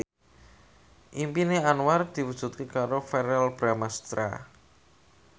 impine Anwar diwujudke karo Verrell Bramastra